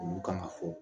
Olu kan ka fɔ